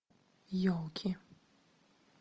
елки